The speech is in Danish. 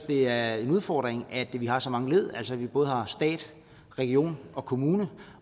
det er en udfordring at vi har så mange led altså at vi både har stat region og kommune